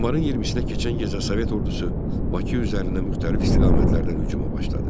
Yanvarın 20-nə keçən gecə Sovet ordusu Bakı üzərinə müxtəlif istiqamətlərdən hücuma başladı.